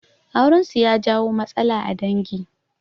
Aurensu ya jawo matsala a dangi